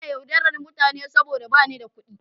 Ina yaudarar mutane saboda ba ni da kuɗi.